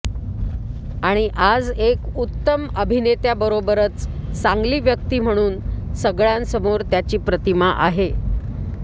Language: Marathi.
आणि आज एक उत्तम अभिनेत्याबरोबरच चांगली व्यक्ती म्हणून सगळ्यांसमोर त्याची प्रतिमा आहे